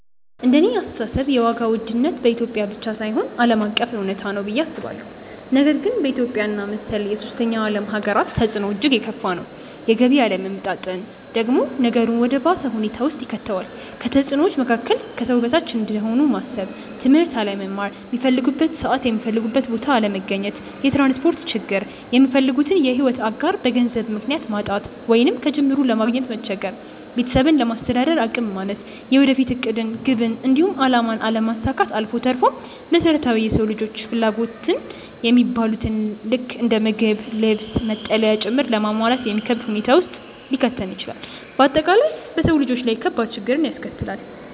እንደኔ አስተሳሰብ የዋጋ ውድነት በኢትዮጵያ ብቻ ሳይሆን ዓለም አቀፍ እውነታ ነው ብዬ አስባለሁ፤ ነገር ግን በኢትዮጵያ እና መሰል የሶስተኛ ዓለም ሃገራት ተፅዕኖው እጅግ የከፋ ነው። የገቢ አለመመጣጠን ደግሞ ነገሩን ወደ ባሰ ሁኔታ ውስጥ ይከተዋል። ከተፅዕኖዎቹ መካከል፦ ከሰው በታች እንደሆኑ ማሰብ፣ ትምህርት አለመማር፣ ሚፈልጉበት ሰዓት የሚፈልጉበት ቦታ አለመገኘት፣ የትራንስፖርት ችግር፣ የሚፈልጉትን የሕይወት አጋር በገንዘብ ምክንያት ማጣት ወይንም ከጅምሩ ለማግኘት መቸገር፣ ቤተሰብን ለማስተዳደር አቅም ማነስ፣ የወደፊት ዕቅድን፣ ግብን፣ እንዲሁም አላማን አለማሳካት አልፎ ተርፎም መሰረታዊ የሰው ልጆች ፍላጎት የሚባሉትን ልክ እንደ ምግብ፣ ልብስ፣ መጠለያ ጭምር ለማሟላት የሚከብድ ሁኔታ ውስጥ ሊከተን ይችላል። በአጠቃላይ በሰው ልጆች ላይ ከባድ ችግርን ያስከትላል።